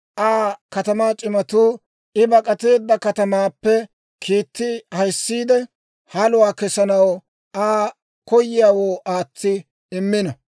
Aa katamaa c'imatuu I bak'ateedda katamaappe kiitti ahiissiide, haluwaa kesanaw Aa koyiyaawoo aatsi immino.